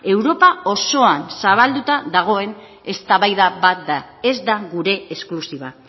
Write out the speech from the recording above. europa osoan zabalduta dagoen eztabaida bat da ez da gure esklusiba